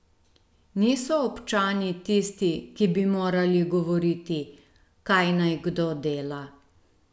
Niso občani tisti, ki bi morali govoriti, kaj naj kdo dela.